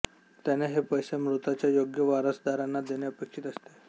त्याने हे पैसे मृताच्या योग्य वारसदाराना देणे अपेक्षित असते